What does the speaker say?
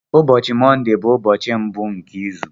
Ụbọchị Mọndé bụ ụbọchị mbụ nke izu.